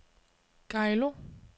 Geilo